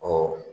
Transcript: Ɔ